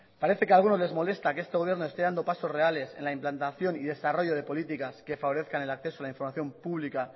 parece que a algunos les molesta que este gobierno esté dando pasos reales en la implantación y desarrollo de políticas que favorezcan el acceso a la información pública